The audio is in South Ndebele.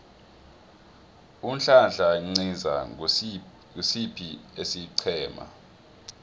unhlanhla nciza ngosiphi isiqhema